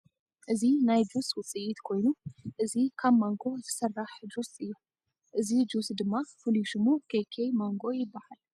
እዚ ናይ ጁስ ውፅኢት ኮይኑ እዚ ካብ ማንጎ ዝስራሕ ጁስ እዩ። እዚ ጁስ ድማ ፍሉይ ሽሙ ከከ ማንጎ ይባሃል ።